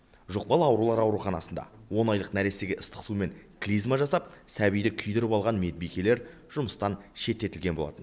жұқпалы аурулар ауруханасында он айлық нәрестеге ыстық сумен клизма жасап сәбиді күйдіріп алған медбикелер жұмыстан шеттетілген болатын